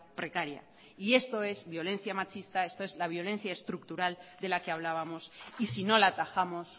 precaria y esto es violencia machista esto es la violencia estructural de la que hablábamos y sino la atajamos